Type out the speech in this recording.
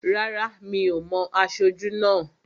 Rárá, mi ò mo aṣojú náà